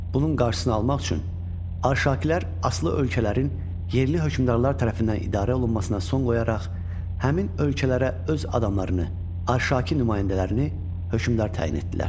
Bunun qarşısını almaq üçün Arşakilər asılı ölkələrin yerli hökmdarlar tərəfindən idarə olunmasına son qoyaraq həmin ölkələrə öz adamlarını, Arşaki nümayəndələrini hökmdar təyin etdilər.